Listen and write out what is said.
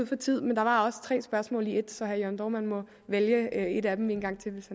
for tid men der var også tre spørgsmål i et så herre jørn dohrmann må vælge et af dem en gang til hvis